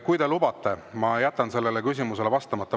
Kui te lubate, siis ma jätan sellele küsimusele vastamata.